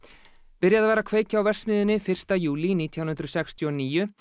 byrjað var að kveikja á verksmiðjunni fyrsta júlí nítján hundruð sextíu og níu